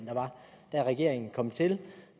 regeringen kom til